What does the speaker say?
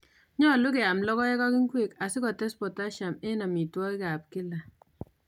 Nyolu keyam logoek ak ingwek asikotes potassium en amitwokik ab kila